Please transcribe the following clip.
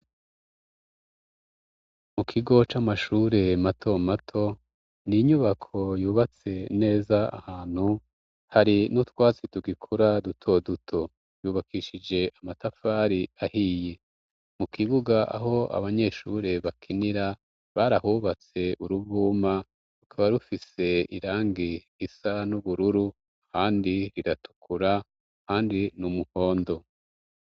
Mu kigo c'amashure mato mato, ni inyubako yubatse neza ahantu hari n'utwatsi tugikura duto duto. Yubakishije amatafari ahiye. Mu kibuga aho abanyeshure bakinira barahubatse uruvuma rukaba rufise irangi isa n'ubururu, ahandi riratukura, ahandi ni umuhondo.